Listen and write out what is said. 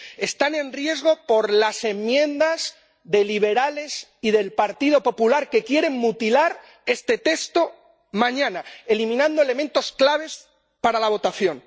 Están en riesgo por las enmiendas de los Grupos ALDE y PPE, que quieren mutilar este texto mañana, eliminando elementos claves para la votación.